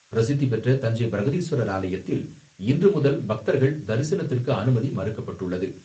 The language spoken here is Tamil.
பிரசித்திபெற்ற தஞ்சை பிரகதீஸ்வரர் ஆலயத்தில் இன்றுமுதல் பக்தர்கள் தரிசனத்திற்கு அனுமதி மறுக்கப்பட்டுள்ளது.